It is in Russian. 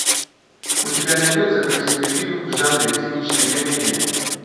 у тебя найдется красивый фильм в жанре циничная комедия